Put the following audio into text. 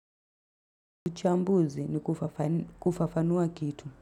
Uchambuzi ni kufafanua kitu.